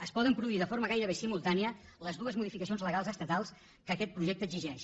es poden produir de forma gairebé simultània les dues modificacions legals estatals que aquest projecte exigeix